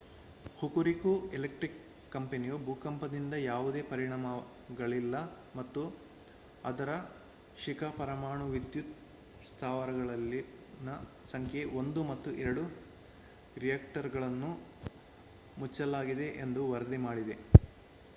Hokuriku electric power ಕಂಪನಿಯು ಭೂಕಂಪದಿಂದ ಯಾವುದೇ ಪರಿಣಾಮಗಳಿಲ್ಲ ಮತ್ತು ಅದರ ಶಿಕಾ ಪರಮಾಣು ವಿದ್ಯುತ್ ಸ್ಥಾವರದಲ್ಲಿನ ಸಂಖ್ಯೆ 1 ಮತ್ತು 2 ರಿಯಾಕ್ಟರ್‌ಗಳನ್ನು ಮುಚ್ಚಲಾಗಿದೆ ಎಂದು ವರದಿ ಮಾಡಿದೆ